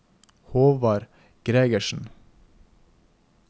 Håvard Gregersen